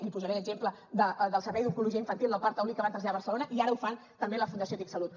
li posaré d’exemple el servei d’oncologia infantil del parc taulí que van traslladar a barcelona i ara ho fan també amb la fundació tic salut